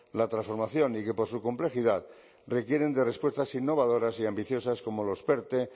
la transformación y que por su complejidad requieren de respuestas innovadoras y ambiciosas como los perte